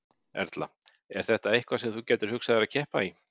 Erla: Er þetta eitthvað sem þú gætir hugsað þér að keppa í?